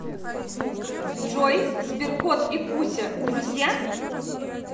джой сберкот и куся друзья